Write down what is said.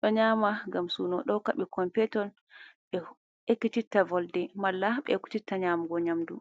ɗo nyama ngam suno dohokka be kompetol be ekititta volde mala be ektitta nyamugo nyamdu.